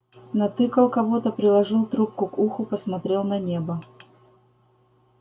натыкал кого-то приложил трубку к уху посмотрел на небо